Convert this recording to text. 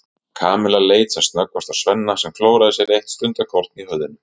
Kamilla leit sem snöggvast á Svenna sem klóraði sér eitt stundarkorn í höfðinu.